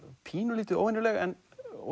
pínulítið óvenjuleg en